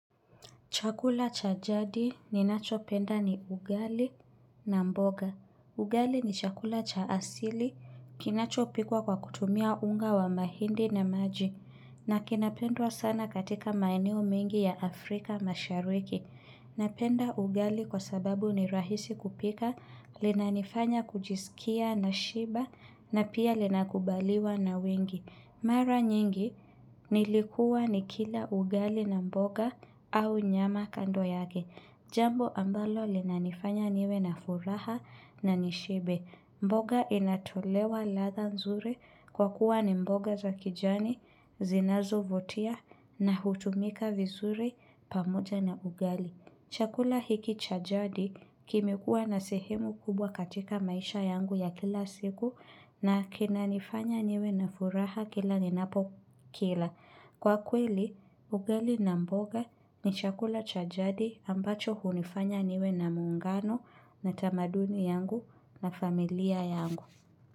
Chakula cha jadi ninachopenda ni ugali na mboga. Ugali ni chakula cha asili kinachopikwa kwa kutumia unga wa mahindi na maji. Na kinapendwa sana katika maeneo mengi ya Afrika mashariki. Napenda ugali kwa sababu ni rahisi kupika, linanifanya kujiskia nashiba na pia linakubaliwa na wengi. Mara nyingi nilikuwa nikila ugali na mboga au nyama kando yake. Jambo ambalo linanifanya niwe na furaha na nishibe. Mboga inatolewa latha nzuri kwa kuwa ni mboga za kijani, zinazo vutia na hutumika vizuri pamoja na ugali. Chakula hiki cha jadi kimekuwa na sehemu kubwa katika maisha yangu ya kila siku na kinanifanya niwe na furaha kila ninapo kila. Kwa kweli, ugali na mboga ni chakula cha jadi ambacho hunifanya niwe na muungano na tamaduni yangu na familia yangu.